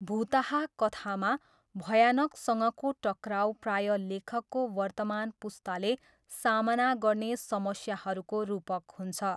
भुताहा कथामा, भयानकसँगको टकराउ प्रायः लेखकको वर्तमान पुस्ताले सामना गर्ने समस्याहरूको रूपक हुन्छ।